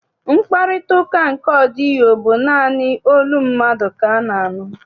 Mkparịtaụka nke ọdịyio bụ naanị olu mmadụ ka a na-anụ.